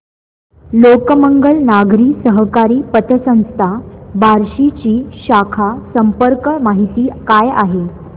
लोकमंगल नागरी सहकारी पतसंस्था बार्शी ची शाखा संपर्क माहिती काय आहे